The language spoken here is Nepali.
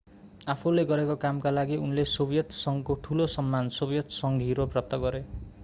आफूले गरेको कामका लागि उनले सोभियत संघको ठुलो सम्मान सोभियत संघ हिरो प्राप्त गरे